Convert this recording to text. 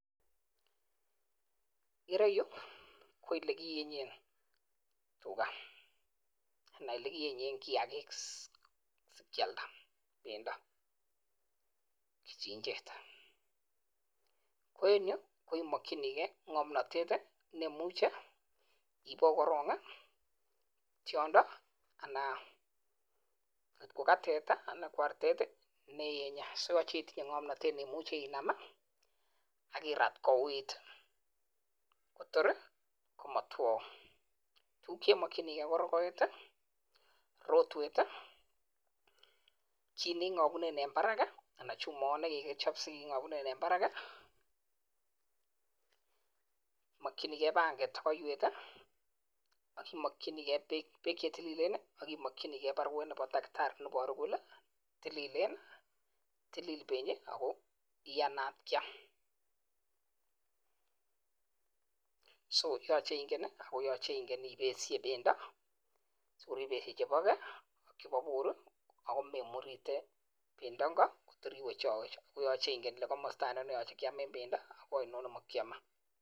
Kireyu ko ele kiyenyen tuga. Anan ele kiyenyen kiyagik si kealda bendo en kichinjet. Ko en yu ko imokinige ng'omnatet ne imuche ibuo korong tyondo ana koga teta anan ko artet ne iyenye. So yoche itinye ng'omnatet ne imuche inam ak irat kouuit kotor ko motwou tuguk che imokinige ko: rogoet, rotwet, kit ne ing'obunen en barak ii, anan chumoyot ne kigichob si keng'obunen en barak, imokinike panget ak oiywet, ak imokinike beek che tililen ak imokinige baruetab takitari ne iboru kole tililen, tilil benyi ago iyanat kyam. So yoche ingen ii ak yoche inge ibesye bendo si kor ibeshe choboke ak chebo bor ago memurite bendo ingo tor iwechowech. Ko yoche ingen ile komosta ainon ne yoche kyam en bendo ko ainon ne mokyome.